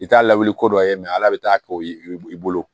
I t'a lawuli ko dɔ ye ala bɛ taa kɛ o i bolo